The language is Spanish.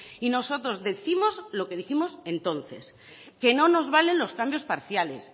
y nosotros décimos lo que dijimos entonces que no nos valen los cambios parciales